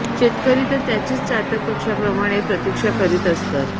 शेतकरी तर त्याचीच चातक पक्ष्याप्रमाणे प्रतीक्षा करीत असतात